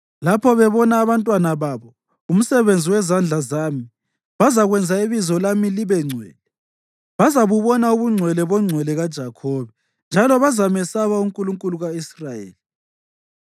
Lapho bebona abantwana babo, umsebenzi wezandla zami, bazakwenza ibizo lami libengcwele; bazabubona ubungcwele boNgcwele kaJakhobe, njalo bazamesaba uNkulunkulu ka-Israyeli.